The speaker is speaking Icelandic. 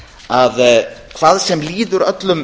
að hvað sem líður öllum